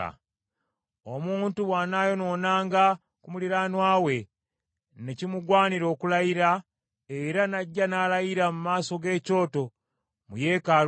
“Omuntu bw’anaayonoonanga ku muliraanwa we, ne kimugwanira okulayira, era n’ajja n’alayira mu maaso g’ekyoto mu yeekaalu eno,